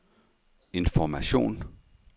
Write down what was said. information